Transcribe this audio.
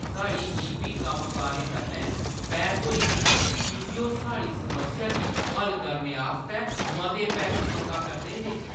साढ़ी ई.बी. कम्मकारें कन्नै बैह्‌स होई गेई की जे ओह् साढ़ी समस्या गी हल करने आस्तै मते पैसे मंगा करदे हे।